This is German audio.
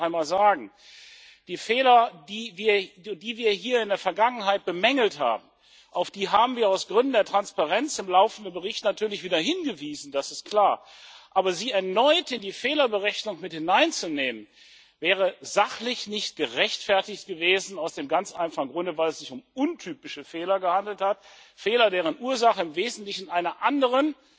Ich will das hier noch einmal sagen Auf die Fehler, die wir hier in der Vergangenheit bemängelt haben, haben wir aus Gründen der Transparenz im laufenden Bericht natürlich wieder hingewiesen das ist klar aber sie erneut in die Fehlerberechnung mit hineinzunehmen wäre sachlich nicht gerechtfertigt gewesen aus dem ganz einfachen Grunde, weil es sich um untypische Fehler gehandelt hat, Fehler, deren Ursache im Wesentlichen in einer anderen